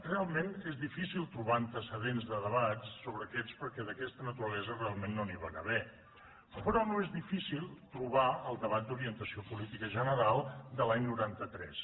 realment és difícil trobar antecedents de debats sobre aquests perquè d’aquesta naturalesa realment no n’hi van haver però no és difícil trobar el debat d’orientació política general de l’any noranta tres